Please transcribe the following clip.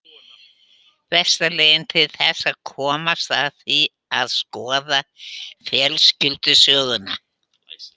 Besta leiðin til þess að komast að því er að skoða fjölskyldusöguna.